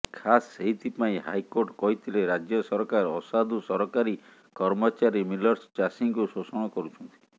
ଖାସ୍ େସଇଥିପାଇଁ ହାଇେକାର୍ଟ କହିଥିଲେ ରାଜ୍ୟ ସରକାର ଅସାଧୁ ସରକାରୀ କର୍ମଚାରୀ ମିଲର୍ସ ଚାଷୀଙ୍କୁ େଶାଷଣ କରୁଛନ୍ତି